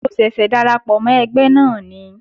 Mo ṣẹ̀ṣẹ̀ darapọ̀ mọ́ ẹgbẹ́ náà ni